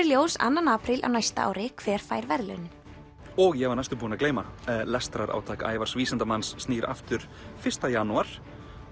ljós annar apríl á næsta ári hver fær verðlaunin og ég var næstum búinn að gleyma lestrarátak Ævars vísindamanns snýr aftur fyrsta janúar